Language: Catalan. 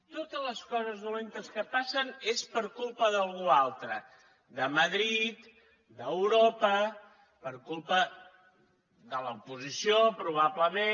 totes les coses dolentes que passen és per culpa d’algú altre de madrid d’europa per culpa de l’oposició probablement